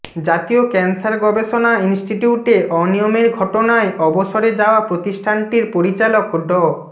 জাতীয় ক্যানসার গবেষণা ইনস্টিটিউটে অনিয়মের ঘটনায় অবসরে যাওয়া প্রতিষ্ঠানটির পরিচালক ড